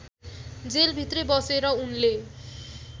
जेलभित्रै बसेर उनले